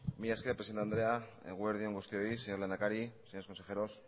mila esker presidente andrea eguerdi on guztioi señor lehendakari señores consejeros